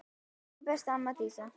Elsku besta amma Dísa.